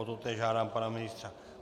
O totéž žádám pana ministra.